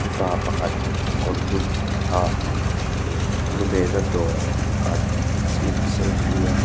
mipa pakhat kawr dum ha eh lu mehna dawrah a-in selfie a.